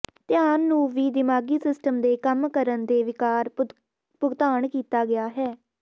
ਧਿਆਨ ਨੂੰ ਵੀ ਦਿਮਾਗੀ ਸਿਸਟਮ ਦੇ ਕੰਮ ਕਰਨ ਦੇ ਿਵਕਾਰ ਭੁਗਤਾਨ ਕੀਤਾ ਗਿਆ ਹੈ